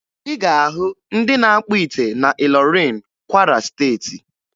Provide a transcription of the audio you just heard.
Ị ga-ahụ ndị na-akpụ ite na Ịlọrịn, Kwara Steeti.